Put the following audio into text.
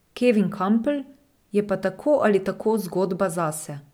Kevin Kampl je pa tako ali tako zgodba zase.